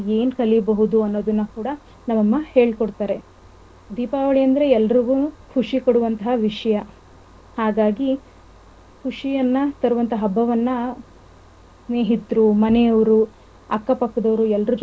ಅನೋದನ್ನ ಕೂಡ ನಮ್ಮಮ್ಮ ಹೇಳ್ಕೊಡ್ತಾರೆ ದೀಪಾವಳಿ ಅಂದ್ರೆ ಎಲ್ಲರುಗುನು ಖುಷಿ ಕೂಡುವಂತಹ ವಿಷಯ. ಹಾಗಾಗಿ ಖುಷಿಯನ್ನ ತರುವಂತಹ ಹಬ್ಬವನ್ನ ಸ್ನೇಹಿತರು, ಮನೆಯವರು, ಅಕ್ಕಪಕ್ಕದವರು ಎಲ್ಲರು ಜೊತೆ.